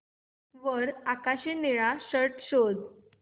वर आकाशी निळा शर्ट शोध